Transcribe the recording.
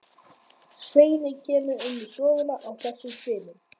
Svenni kemur inn í stofuna í þessum svifum.